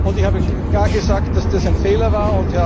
Ich habe klar gesagt, dass das ein Fehler war.